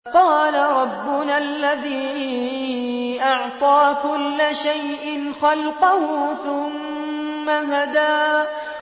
قَالَ رَبُّنَا الَّذِي أَعْطَىٰ كُلَّ شَيْءٍ خَلْقَهُ ثُمَّ هَدَىٰ